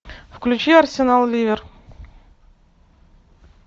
включи арсенал ливер